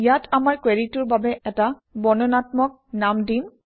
ইয়াত আমাৰ কুৱেৰিটোৰ বাবে এটা বৰ্ণনাত্মক নাম দিম